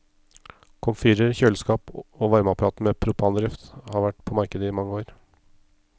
Komfyrer, kjøleskap og varmeapparater med propandrift har vært på markedet i mange år.